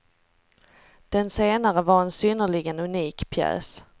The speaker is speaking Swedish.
Den senare var en synnerligen unik pjäs.